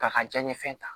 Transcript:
K'a ka diɲɛ fɛn ta